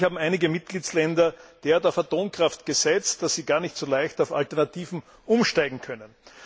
Und bekanntlich haben einige Mitgliedstaaten derart auf Atomkraft gesetzt, dass sie gar nicht so leicht auf Alternativen umsteigen können.